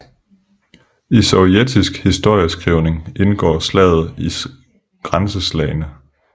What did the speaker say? I sovjetisk historieskrivning indgår slaget i Grænseslagene